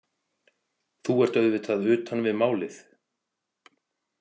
Þú ert auðvitað utan við málið.